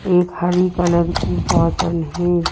एक हरी कलर की बॉटल है।